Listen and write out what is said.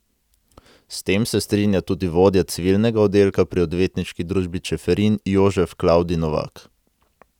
S tem se strinja tudi vodja civilnega oddelka pri odvetniški družbi Čeferin Jožef Klavdij Novak.